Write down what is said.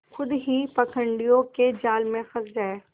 खुद ही पाखंडियों के जाल में फँस जाए